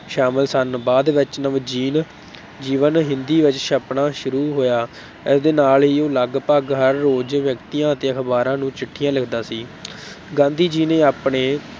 ਸ਼ਾਮਿਲ ਸਨ, ਬਾਅਦ ਵਿੱਚ ਨਵਜੀਨ ਜੀਵਨ ਹਿੰਦੀ ਵਿੱਚ ਛਪਣਾ ਸ਼ੁਰੂ ਹੋਇਆ, ਇਸਦੇ ਨਾਲ ਹੀ ਉਹ ਲਗਭਗ ਹਰ ਰੋਜ਼ ਵਿਅਕਤੀਆਂ ਅਤੇ ਅਖ਼ਬਾਰਾਂ ਨੂੰ ਚਿੱਠੀਆਂ ਲਿਖਦਾ ਸੀ ਗਾਂਧੀ ਜੀ ਨੇ ਆਪਣੇ